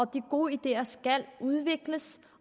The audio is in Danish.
de gode ideer skal udvikles